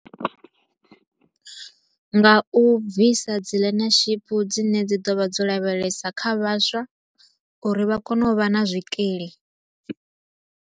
Nga u bvisa dzi learnership dzine dzi ḓo vha dzo lavhelesa kha vhaswa, uri vha kone u vha na zwikili.